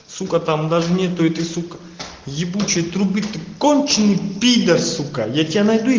сука там даже нету этой сука ебучей трубы ты конченый пидр сука я тебе найду и